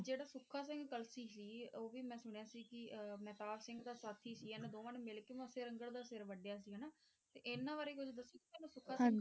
ਜਿਹੜੇ ਸੁੱਖਾ ਸਿੰਘ ਕਲਸੀ ਸੀ ਉਹ ਵੀ ਮੈਂ ਸੁਣਿਆ ਸੀ ਕਿ ਇਹ ਮਹਿਤਾਬ ਸਿੰਘ ਦਾ ਸਾਥੀ ਸੀ। ਇਨ੍ਹਾਂ ਦੋਵਾਂ ਨੇ ਮਿਲਕੇ ਮੱਸੇ ਰੰਘੜ ਦਾ ਸਿਰ ਵੱਢਿਆ ਸੀ ਹਨਾ? ਤੇ ਇਹਨਾਂ ਬਾਰੇ ਕੁਛ ਦੱਸੋਗੇ ਸੁੱਖਾ .